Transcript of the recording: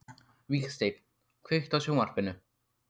Vígsteinn, kveiktu á sjónvarpinu.